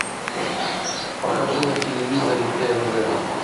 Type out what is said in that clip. покажи на телевизоре тнв